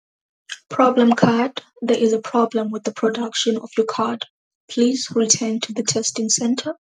Problem card. There is a problem with the production of your card. Please return to the testing centre.